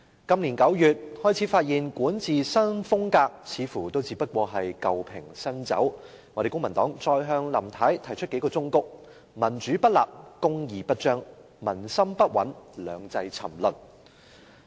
今年9月，我們開始發現林太的管治新風格似乎只是舊瓶新酒，公民黨便再向她提出數個忠告："民主不立、公義不彰、民心不穩、兩制沉淪"。